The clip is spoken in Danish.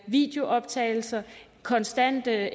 videooptagelser konstante